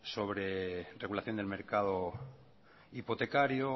sobre regulación del mercado hipotecario